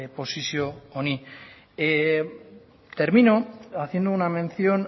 posizio honi termino haciendo una mención